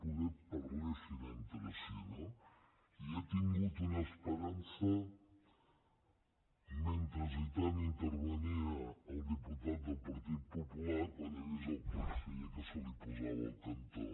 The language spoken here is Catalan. poder parlessin entre si no i n’he tingut una esperança mentre intervenia el diputat del partit popular quan he vist el conseller que se li posava al cantó